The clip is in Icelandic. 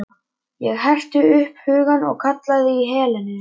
Ég herti upp hugann og kallaði í Helenu.